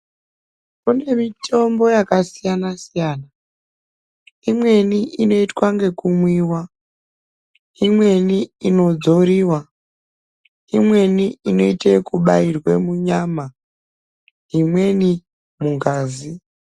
Kune mitombo yakasiyana-siyana imweni inoitwa yekumwiwa imweni inodzoriwa imweni inoitwa yekubairwa munyama imweni mungazi.